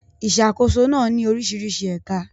Ìṣàkóso náà ní oríṣiríṣi ẹ̀ka.